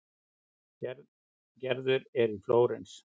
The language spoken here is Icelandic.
Gerður er í Flórens.